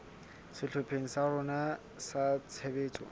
sehlopheng sa rona sa tshebetso